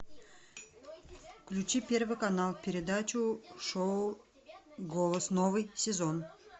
включи первый канал передачу шоу голос новый сезон